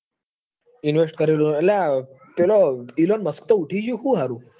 invest કરેલું હ અલ્યા પેલો Elon musk તો ઉઠી ગયો કે હું હારું.